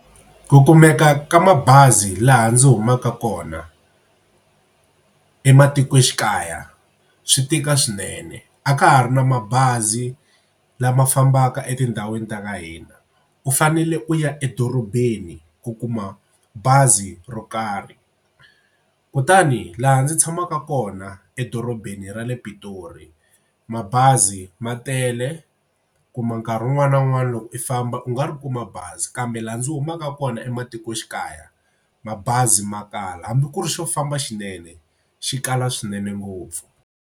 Ku kumeka ka mabazi laha ndzi humaka kona ematikoxikaya swi tika swinene. A ka ha ri na mabazi lama fambaka etindhawini ta ka hina. U fanele u ya edorobeni ku kuma bazi ro karhi kutani laha ndzi tshamaka kona edorobeni ra le Pitori mabazi ma tele kuma nkarhi wun'wani na wun'wani loko i famba u nga ri kuma bazi kambe laha ndzi humaka kona ematikoxikaya mabazi ma kala hambi ku ri xo famba xinene xi kala swinene ngopfu.